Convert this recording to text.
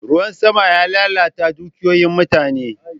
Ruwan sama ya lalata dukiyoyin mutane.